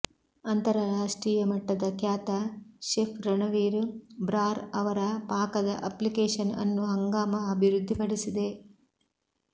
ಅಂತರರಾಷ್ಟ್ರೀಯಮಟ್ಟದ ಖ್ಯಾತ ಶೆಫ್ ರಣವೀರ್ ಬ್ರಾರ್ ಅವರ ಪಾಕದ ಅಪ್ಲಿಕೇಷನ್ ಅನ್ನು ಹಂಗಾಮ ಅಭಿವೃದ್ಧಿಪಡಿಸಿದೆ